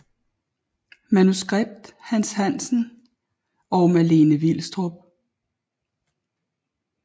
Manuskript Hans Hansen og Malene Vilstrup